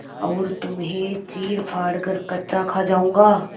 और तुम्हें चीरफाड़ कर कच्चा खा जाऊँगा